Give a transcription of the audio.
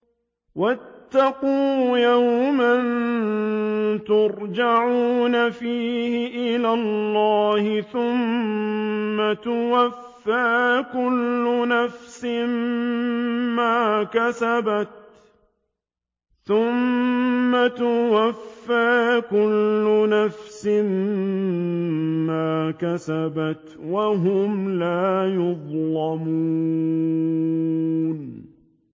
وَاتَّقُوا يَوْمًا تُرْجَعُونَ فِيهِ إِلَى اللَّهِ ۖ ثُمَّ تُوَفَّىٰ كُلُّ نَفْسٍ مَّا كَسَبَتْ وَهُمْ لَا يُظْلَمُونَ